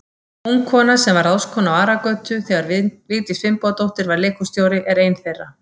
Ung kona, sem var ráðskona á Aragötu þegar Vigdís Finnbogadóttir var leikhússtjóri, er ein þeirra.